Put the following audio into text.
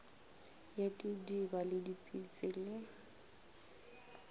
ya didiba le dipetse le